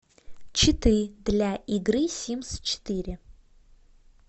читы для игры симс четыре